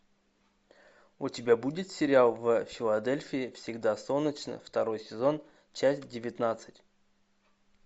у тебя будет сериал в филадельфии всегда солнечно второй сезон часть девятнадцать